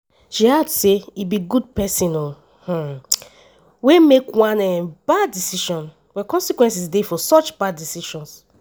she add say “e be good pesin um wey make one um bad decision but consequences dey for such bad decisions.”